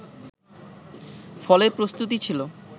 ফলে প্রস্তুতি ছিল